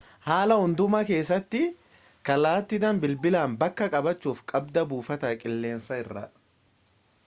haala hundumaa keessatti kallatiidhan bilbilaan bakka qabaachu qabda buufata qilleensaa irraa